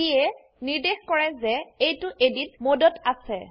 যিয়ে নিৰ্দেশ কৰে যে এইটো Editমোডত আছে